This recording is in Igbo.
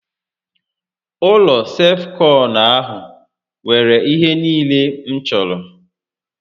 Ụlọ self kọnụ ahụ nwèrè ihe niile m chọrọ